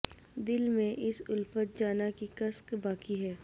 دل میں اس الفت جاناں کی کسک باقی ہے